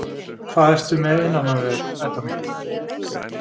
Hvað ertu með innan á þér, Edda mín?